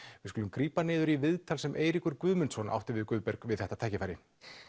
við skulum grípa niður í viðtal sem Eiríkur Guðmundsson átti við Guðberg við þetta tækifæri